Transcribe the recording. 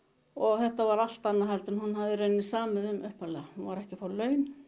þetta var allt annað en hún hafði samið um upphaflega hún var ekki að fá laun